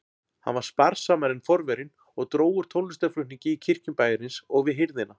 Hann var sparsamari en forverinn og dró úr tónlistarflutningi í kirkjum bæjarins og við hirðina.